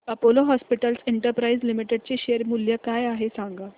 Apollo Hospitals Enterprise Limited चे share मूल्य काय आहे सांगा